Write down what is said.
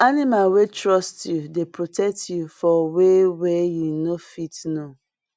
animal wey trust you dey protect you for way wey you no fit fit know